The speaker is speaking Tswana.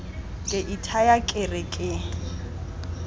ke ithaya ke re ke